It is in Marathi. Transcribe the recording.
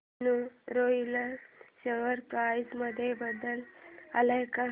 यूनीरॉयल शेअर प्राइस मध्ये बदल आलाय का